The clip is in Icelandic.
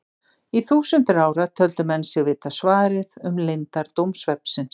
Í þúsundir ára töldu menn sig vita svarið um leyndardóm svefnsins.